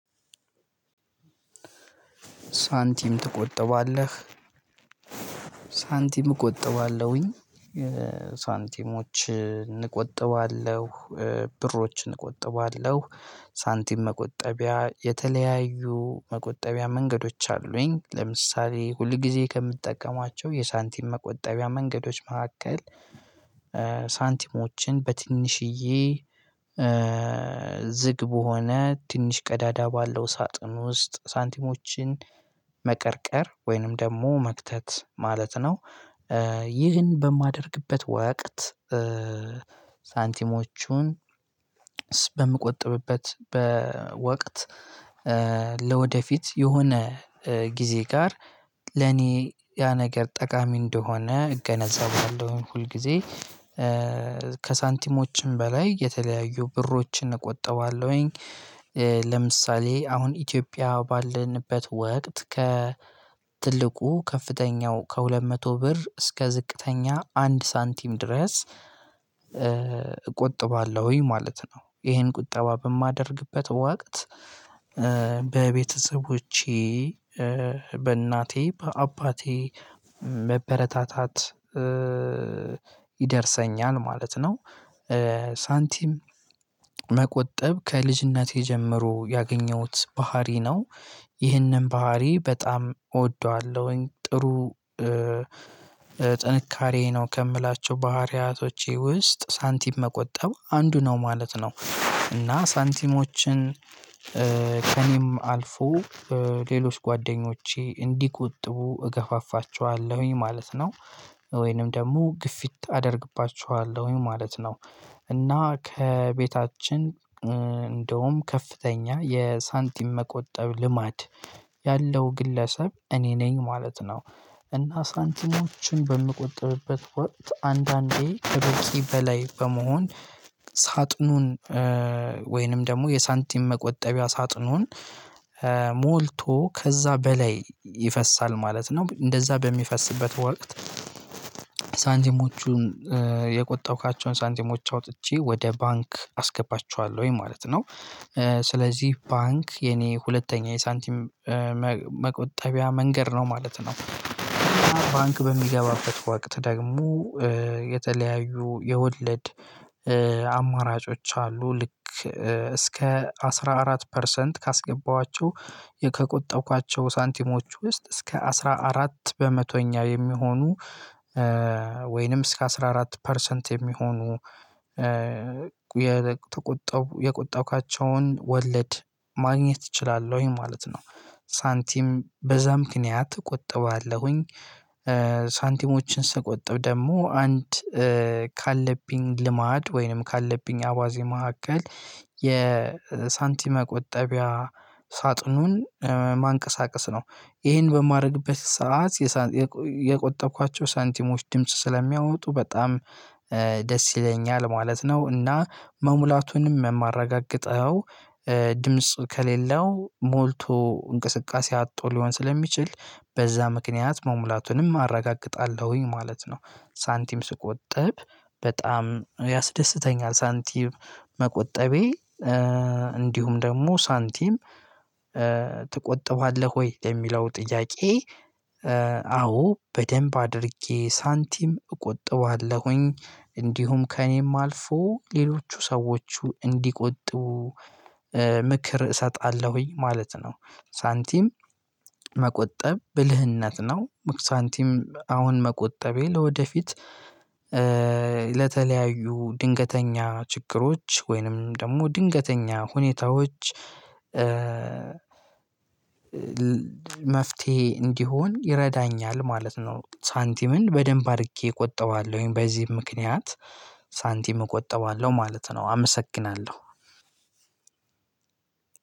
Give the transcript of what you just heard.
ሳንቲም ትቆጠባለህ? ሳንቲም እቆጠባለሁኝ ሳንቲሞችን እቆጥባለሁ ብሮችን እንቆጥባለሁ። ሳንቲም መቆጠቢያ የተለያዩ መቆጠቢያ መንገዶች አሉኝ ለምሳሌ ሁል ጊዜ ከምጠቀማቸው የሳንቲም መቆጠቢያ መንገዶች መካከል ሳንቲሞችን በትንሽዬ ዝግ በሆነ ትንሽ ቀዳዳ ባለው ሳጥን ውስጥ ሳንቲሞችን መቀርቀር ወይንም ደግሞ መክተት ማለት ነው። ይህን በማደርግበት ወቅት ሳንቲሞቹን በምቆጥብበት በወቅት ለወደፊት የሆነ ጊዜ ጋር ለኔ ያ ነገር ጠቃሚ እንደሆነ እገነዛባለሁ ሁል ጊዜ ከሳንቲሞችም በላይ የተለያዩ ብሮችን እቆጠባለሁኝ። ለምሳሌ አሁን ኢትዮጵያ ባለንበት ወቅት ከ ትልቁ ከፍተኛው ከሁለት መቶ ብር እስከ ዝቅተኛ አንድ ሳንቲም ድረስ እቆጥባለሁኝ ማለት ነው። ይሄን ቁጠባ በማደርግበት ወቅት በቤተሰቦቼ በእናቴ በአባቴ መበረታታት ይደርሰኛል ማለት ነው። ሳንቲም መቆጠብ ከልጅነቴ ጀምሮ ያገኘሁት ባህሪ ነው። ይህንን ባህሪ በጣም እወደዋለሁኝ ጥሩ ጥንካሬ ነው ከምላቸው ባህሪያቶቼ ውስጥ ሳንቲም መቆጠብ አንዱ ነው ማለት ነው። እና ሳንቲሞችን ከእኔም አልፎ ሌሎች ጓደኞቼ እንዲቆጥቡ እገፋፋቸዋለሁኝ ማለት ነው። ወይንም ደግሞ ግፊት አደርግባቸዋለሁኝ ማለት ነው እና ከቤታችን እንደውም ከፍተኛ የሳንቲም መቆጠብ ልማድ ያለው ግለሰብ እኔ ነኝ ማለት ነው። እና ሳንቲሞችን በምቆጥብበት ወቅት አንዳንዴ ከበቂ በላይ በመሆን ሳጥኑን ወይንም ደግሞ የሳንቲም መቆጠቢያ ሳጥኑን ሞልቶ ከዛ በላይ ይፈሳል ማለት ነው። እንደዛ በሚፈስበት ወቅት ሳንቲሞቹን የቆጠብኳቸውን ሳንቲሞች አውጥቼ ወደ ባንክ አስገባቸዋለሁኝ ማለት ነው። ስለዚህ ባንክ የኔ ሁለተኛ የሳንቲም መቆጠቢያ መንገድ ነው ማለት ነው። ባንክ በሚገባበት ወቅት ደግሞ የተለያዩ የወለድ አማራጮች አሉ ልክ እስከ አስራ አራት ፐርሰንት ካስገባኋቸው ከቆጠብኳቸው ሳንቲሞች ውስጥ እስከ አስራ አራት በመቶኛ የሚሆኑ ወይንም እስከ አስራ አራት ፐርሰንት የሚሆኑ የተቆጠቡ የቆጠብኳቸውን ወለድ ማግኘት እችላለሁኝ ማለት ነው። ሳንቲም በዛ ምክንያት እቆጥባለሁኝ። ሳንቲሞችን ስቆጥብ ደግሞ አንድ ካለብኝ ልማድ ወይንም ካለብኝ አባዜ መካከል የሳንቲም መቆጠቢያ ሳጥኑን ማንቀሳቀስ ነው ይሄን በማድረግበት ሰዓት የቆጠብኳቸው ሳንቲሞች ድምጽ ስለሚያወጡ በጣም ደስ ይለኛል ማለት ነው። እና መሙላቱንም የማረጋግጠው ድምጽ ከሌለው ሞልቶ እንቅስቃሴ አጥቶ ሊሆን ስለሚችል በዛ ምክንያት መሙላቱንም አረጋግጣለሁኝ ማለት ነው። ሳንቲም ስቆጠብ በጣም ያስደስተኛል። ሳንቲም መቆጠቤ እንዲሁም ደግሞ ሳንቲም ትቆጥበዋለህ ወይ ለሚለው ጥያቄ? አዎ በደንብ አድርጌ ሳንቲም እቆጥባለሁኝ እንዲሁም ከእኔም አልፎ ሌሎቹ ሰዎች እንዲቆጡ ምክር እሰጣለሁኝ ማለት ነው። ሳንቲም መቆጠብ ብልህነት ነው። ሳንቲም አሁን መቆጠቤ ለወደፊት ለተለያዩ ድንገተኛ ችግሮች ወይንም ደግሞ ድንገተኛ ሁኔታዎች መፍትሄ እንዲሆን ይረዳኛል ማለት ነው። ሳንቲምን በደንብ አድርጌ እቆጠባለሁኝ በዚህም ምክንያት ሳንቲም እቆጥባለሁ ማለት ነው። አመሰግናለሁ።